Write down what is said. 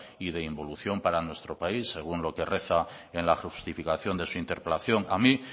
y de involución para nuestro país según lo que reza en la justificación de su interpelación a mí